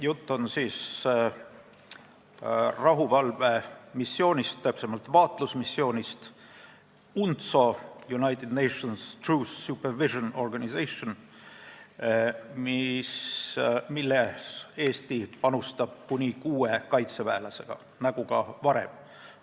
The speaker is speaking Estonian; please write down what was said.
Jutt on rahuvalvemissioonist, täpsemalt vaatlusmissioonist UNTSO , millesse Eesti panustab kuni kuue kaitseväelasega nagu ka varem.